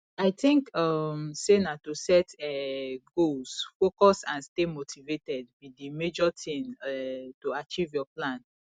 i think um say na to set um goals focus and stay motivated be di major thing um to achieve your plan